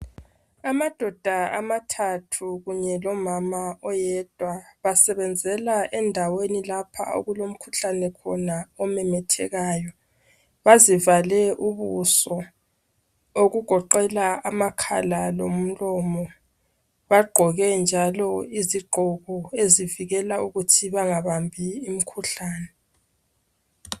Amadoda amathathu kunye lomama oyedwa basebenzela endaweni lapha okulomkhuhlane khona omemethekayo bazivale ubuso okugoqela amakhala lomlomo bagqoke njalo iziqgoko ezivikela ukuthi bangabambi umkhuhlane